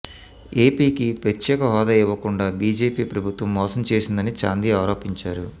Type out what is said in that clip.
ఏపీకి ప్రత్యేక హోదా ఇవ్వకుండా బీజేపీ ప్రభుత్వం మోసం చేసిందని చాందీ ఆరోపించారు